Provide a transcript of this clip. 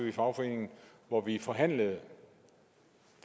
i fagforeningen hvor vi forhandlede